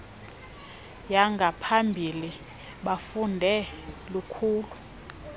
yangaphambili bafunde lukhulu